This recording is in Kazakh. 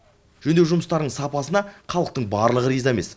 жөндеу жұмыстарының сапасына халықтың барлығы риза емес